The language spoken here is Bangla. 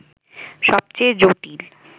সবচেয়ে জটিল